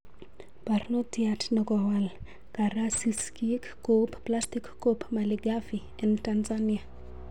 Parnotiat nekowal karasisirk koup plastic koup malighafi en Tanzania